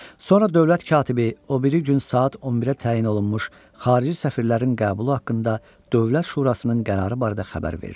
Sonra dövlət katibi o biri gün saat 11-ə təyin olunmuş xarici səfirlərin qəbulu haqqında Dövlət Şurasının qərarı barədə xəbər verdi.